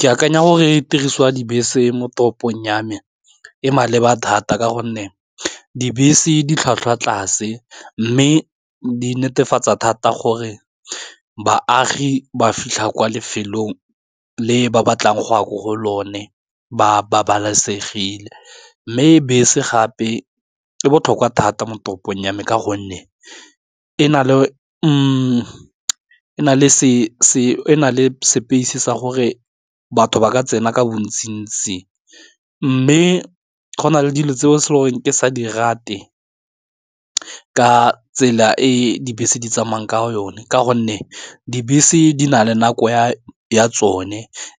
Ke akanya gore e tiriso ya dibese mo toropong ya me, e maleba thata ka gonne dibese di tlhwatlhwa tlase mme di netefatsa thata gore baagi ba fitlha kwa lefelong le ba batlang go ya ko go lone ba babalesegile. Mme bese gape e botlhokwa thata mo toropong ya me ka gonne e na le e na le space-e sa gore batho ba ka tsena ka bontsi ntsi, mme go na le dilo tseo ke sa di rate ka tsela e dibese di tsamaya ka yone ka gonne dibese se di na le nako ya tsone